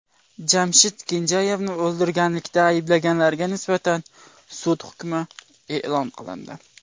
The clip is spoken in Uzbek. Jamshid Kenjayevni o‘ldirganlikda ayblanganlarga nisbatan sud hukmi e’lon qilindi.